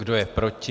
Kdo je proti?